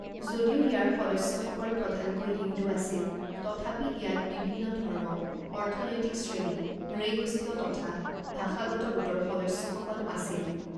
যদিও ইয়াৰ সদস্যসকল প্ৰধানকৈ হিন্দু আছিল, তথাপি ইয়াত বিভিন্ন ধৰ্ম, অৰ্থনৈতিক শ্ৰেণী, নৃগোষ্ঠীয় তথা ভাষাগত গোটৰ সদস্যসকল আছিল।